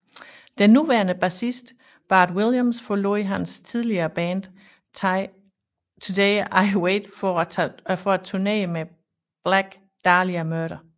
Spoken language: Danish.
Den nuværende bassist Bart Williams forlod hans tidligere band Today I Wait for at turnére med Black Dahlia Murder